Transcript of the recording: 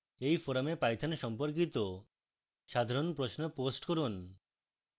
এই forum python সম্পর্কিত সাধারণ প্রশ্ন post করুন